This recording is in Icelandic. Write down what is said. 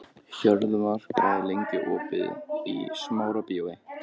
Hjörvar, hvað er lengi opið í Smárabíói?